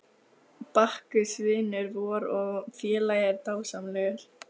Bakkus vinur vor og félagi er dásamlegur.